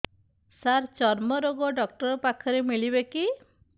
ସାର ଚର୍ମରୋଗ ଡକ୍ଟର ପାଖରେ ମିଳିବେ କି